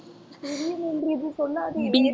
திடீரென்று இப்படி சொல்லாதே